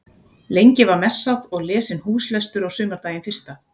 Lengi var messað og lesinn húslestur á sumardaginn fyrsta.